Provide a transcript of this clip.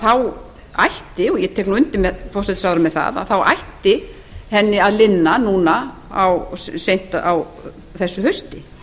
þá ætti og ég tek nú undir með hæstvirtum forsætisráðherra með það þá ætti henni að linna núna seint á þessu hausti